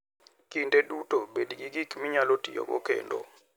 Kinde duto bed gi gik minyalo tiyogo kendo.